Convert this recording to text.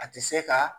A tɛ se ka